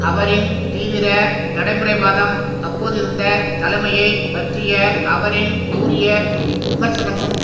அவரின் தீவிர நடைமுறைவாதம் அப்போதிருந்த தலைமையை பற்றிய அவரின் கூரிய விமர்சனமும்